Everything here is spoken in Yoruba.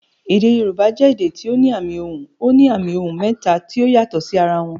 Èdè Yorùbá jẹ èdè tí ó ní àmì ohùn. Ó ní àmì ohùn mẹ́ta tí ó yàtò sí ara wọn